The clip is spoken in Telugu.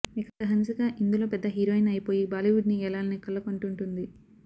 ఇక హన్సిక ఇందులో పెద్ద హీరోయిన్ అయి పోయి బాలీవుడ్ ని యేలాలని కలలు కంటూంటుంది